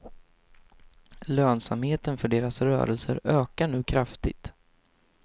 Lönsamheten för deras rörelser ökar nu kraftigt.